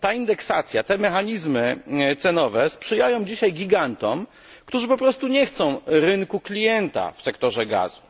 Ta indeksacja, te mechanizmy cenowe sprzyjają dzisiaj gigantom, którzy po prostu nie chcą rynku klienta w sektorze gazu.